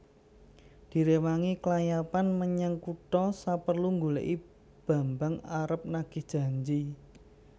Diréwangi klayapan menyang kutha saperlu nggolèki Bambang arep nagih janji